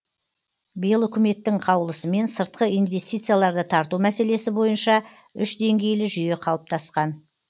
биыл үкіметтің қаулысымен сыртқы инвестицияларды тарту мәселесі бойынша үш деңгейлі жүйе қалыптасқан